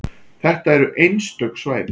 Þetta eru einstök svæði.